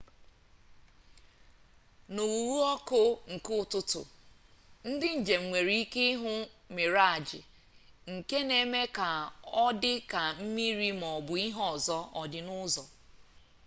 na ughu ọkụ nke ụtụtụ ndị njem nwere ike ịhụ mịraj nke na-eme ka ọdị ka mmiri maọbụ ihe ọzọ ọ dị n'ụzọ